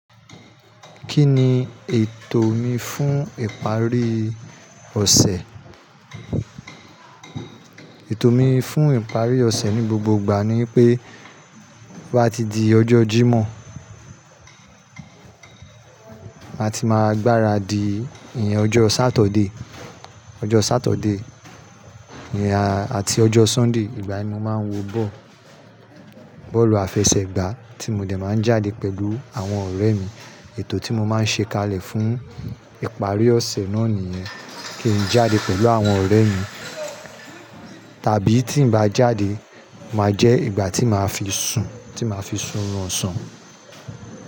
Kí ni ètò mi fún ìparí ọ̀sẹ̀? Ètò mi fún ìparí ọ̀sẹ̀ ni gbogbo ìgbà ni ipé bá ti di ọjọ́ Jímọ̀, màá ti máa gbára di ìyẹn ọjọ́ Saturday, ọjọ́ Saturday ẹn àti ọjọ́ Sunday ìgbà yen ni mo máa ń wọ ball, bọ́ọ̀lù àfẹsẹ̀gbá tí mo dẹ̀ máa ń jáde pẹ̀lú àwọn ọ̀rẹ́ mi. Ètò tí mo máa ń ṣe kalẹ̀ fún ìparí ọ̀sẹ̀ náà nìyẹn, kí n jáde pẹ̀lú àwọn ọ̀rẹ́ mi. Tàbí tí n bá jáde máa jẹ́ ìgbà tí màá fi sùn, tí màá fi sùnrun oṣan.